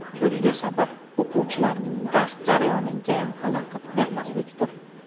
Bunga sabab o‘quvchilarning dars jarayoniga xalaqit bermaslikdir.